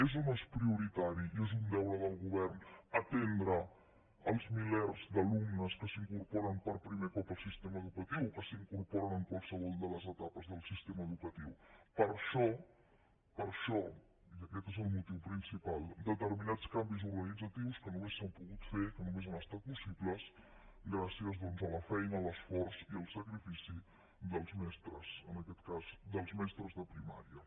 és o no és prioritari i és un deure del govern atendre els milers d’alumnes que s’incorporen per primer cop al sistema educatiu o que s’incorporen en qualsevol de les etapes del sistema educatiu per això per això i aquest és el motiu principal determinats canvis organitzatius només s’han pogut fer només han estat possibles gràcies a la feina a l’esforç i al sacrifici dels mestres en aquest cas dels mestres de primària